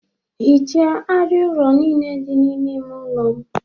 Ghichaa arịa ụlọ niile dị n'ime ime ụlọ m